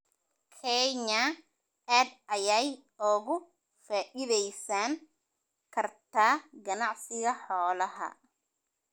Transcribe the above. Kenya aad ayay uga faa'iidaysan kartaa ganacsiga xoolaha.